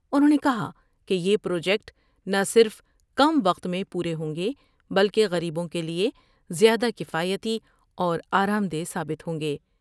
انھوں نے کہا کہ یہ پروجیکٹ نہ صرف کم وقت میں پورے ہوں گے بلکہ غریبوں کے لئے زیادہ کفایتی اور آرامدہ ثابت ہوں گے ۔